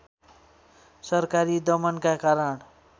सरकारी दमनका कारण